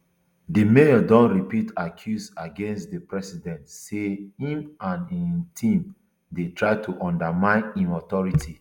di mayor don repeat accuse against di president say im and um im team dey try to undermine im authority